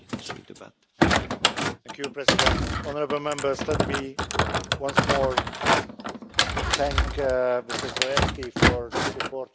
S tímto citátem zcela souhlasím. V době po ekonomické krizi bychom měli dbát na to, aby byla kultura dostupná všem, a nikoli pouze vybraným.